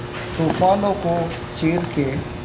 तूफानों को चीर के